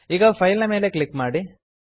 ಈಗ ಫೈಲ್ ನ ಮೇಲೆ ಕ್ಲಿಕ್ ಮಾಡಿ